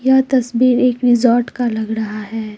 यह तस्वीर एक रिजॉर्ट का लग रहा है।